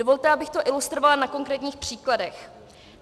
Dovolte, abych to ilustrovala na konkrétních příkladech.